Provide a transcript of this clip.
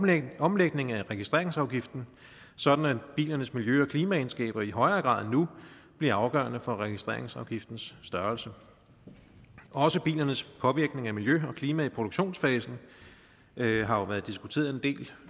en omlægning af registreringsafgiften sådan at bilernes miljø og klimaegenskaber i højere grad end nu bliver afgørende for registreringsafgiftens størrelse også bilernes påvirkning af miljø og klima i produktionsfasen har jo været diskuteret en del